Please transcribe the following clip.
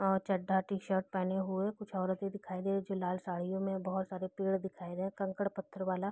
अ चड्ढा टी-शर्ट पहने हुए कुछ औरते दिखाई दे रही है जो लाल साड़ियों में बहुत सारे पेड़ दिखाई दे रहे हैं कंकड़-पत्थर वाला।